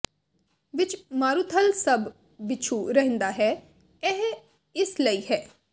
ਵਿਚ ਮਾਰੂਥਲ ਸਭ ਬਿਛੁ ਰਹਿੰਦਾ ਹੈ ਇਹ ਇਸ ਲਈ ਹੈ